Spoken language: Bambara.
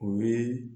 U ye